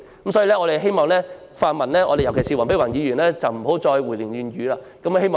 我們希望泛民，尤其是黃碧雲議員不要再胡言亂語。